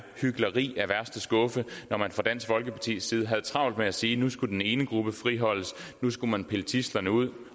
hykleri af værste skuffe når man fra dansk folkepartis side havde travlt med at sige at nu skulle den ene gruppe friholdes nu skulle man pille tidslerne ud